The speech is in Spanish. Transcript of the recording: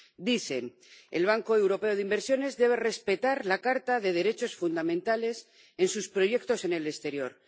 Dicen El Banco Europeo de Inversiones debe respetar la Carta de los Derechos Fundamentales en sus proyectos en el exterior.